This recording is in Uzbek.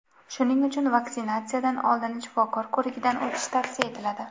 Shuning uchun vaksinatsiyadan oldin shifokor ko‘rigidan o‘tish tavsiya etiladi.